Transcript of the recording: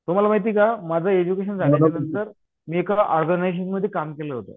तुम्हाला माहिती का माझं एडज्युकेशन झाल्यानंतर मी एका ऑर्गनायझेशनमध्ये काम केलं होतं